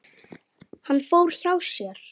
Hann fór hjá sér.